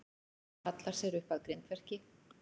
Hallar sér upp að grindverki.